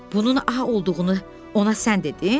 Bunun A olduğunu ona sən dedin?